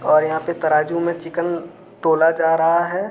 और यहां पे तराजू में चिकन तोला जा रहा है।